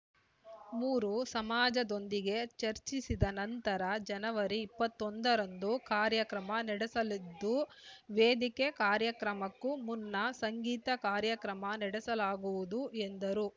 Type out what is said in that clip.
ಮೂರೂ ಸಮಾಜದೊಂದಿಗೆ ಚರ್ಚಿಸಿದ ನಂತರ ಜನವರಿ ಇಪ್ಪತ್ತೊಂದರಂದು ಕಾರ್ಯಕ್ರಮ ನಡೆಸಲಿದ್ದು ವೇದಿಕೆ ಕಾರ್ಯಕ್ರಮಕ್ಕೂ ಮುನ್ನ ಸಂಗೀತ ಕಾರ್ಯಕ್ರಮ ನಡೆಸಲಾಗುವುದು ಎಂದರು